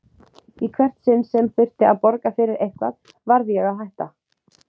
Í hvert sinn sem þurfti að borga fyrir eitthvað varð ég að hætta.